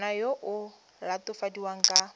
ngwana yo o latofadiwang ka